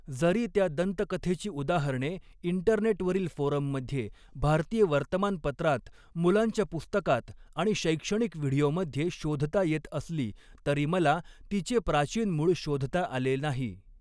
जरी त्या दंतकथेची उदाहरणे इंटरनेटवरील फोरममध्ये, भारतीय वर्तमानपत्रांत, मुलांच्या पुस्तकात आणि शैक्षणिक व्हिडिओमध्ये शोधता येत असली, तरी मला तिचे प्राचीन मूळ शोधता आले नाही.